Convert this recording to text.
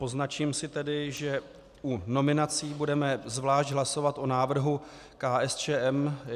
Poznačím si tedy, že u nominací budeme zvlášť hlasovat o návrhu KSČM.